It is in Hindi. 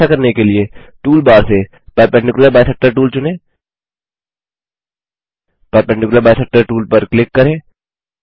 ऐसा करने के लिए टूलबार से परपेंडिकुलर बाइसेक्टर टूल चुनें परपेंडिकुलर बाइसेक्टर टूल पर क्लिक करें